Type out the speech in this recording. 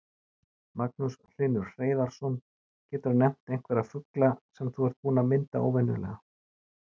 Magnús Hlynur Hreiðarsson: Geturðu nefnt einhverja fugla sem þú ert búinn að mynda óvenjulega?